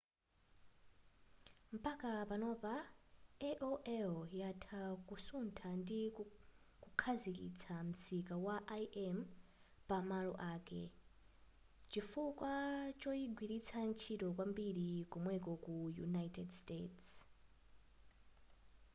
mpaka panopa aol yatha kusutha ndi kukhazikitsa msika wa im pa malo ake chifukwa choyigwiritsa ntchito kwambiri komweko ku united states